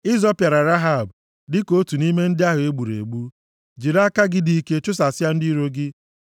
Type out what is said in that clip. Ị zọpịara Rehab dịka otu nʼime ndị ahụ e gburu egbu; jiri aka gị dị ike chụsasịa ndị iro gị.